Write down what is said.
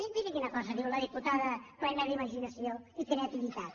miri miri quina cosa diu la diputada plena d’imaginació i creativitat